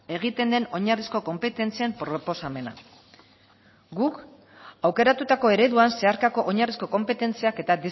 egiten den oinarrizko konpetentzien proposamena guk aukeratutako ereduan zeharkako oinarrizko konpetentziak eta